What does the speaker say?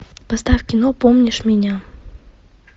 поставь кино помнишь меня